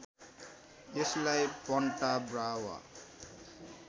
यसलाई Punta Brava